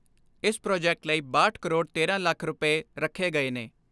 ਇਸ ਪ੍ਰਾਜੈਕਟ ਲਈ ਬਾਹਠ ਕਰੋੜ ਤੇਰਾਂ ਲੱਖ ਰੁਪਏ ਰੱਖੇ ਗਏ ਨੇ।